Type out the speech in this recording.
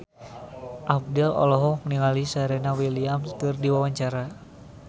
Abdel olohok ningali Serena Williams keur diwawancara